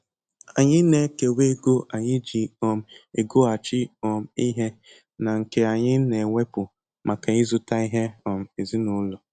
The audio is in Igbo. Anyị na ekewa ego anyi ji um egoghachi um ihe na nke anyị na-ewepu maka ịzụta ihe um ezinụlọ